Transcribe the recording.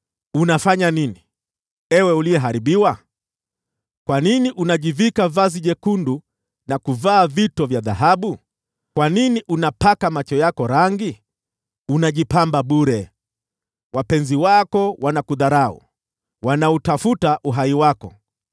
Unafanya nini, ewe uliyeharibiwa? Kwa nini unajivika vazi jekundu na kuvaa vito vya dhahabu? Kwa nini unapaka macho yako rangi? Unajipamba bure. Wapenzi wako wanakudharau, wanautafuta uhai wako.